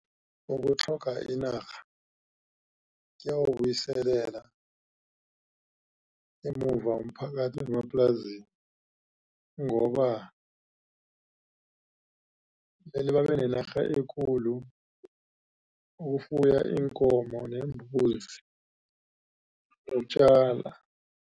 Ukutlhoga inarha kuyawubuyiselela emuva umphakathi wemaplasini ngoba mele babe nenarha ekulu yokufuya iinkomo neembuzi nokutjala.